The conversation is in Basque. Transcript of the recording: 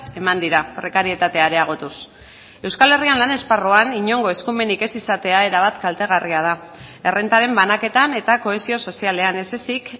eman dira prekarietatea areagotuz euskal herrian lan esparruan inongo eskumenik ez izatea erabat kaltegarria da errentaren banaketan eta kohesio sozialean ez ezik